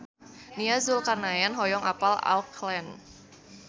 Nia Zulkarnaen hoyong apal Auckland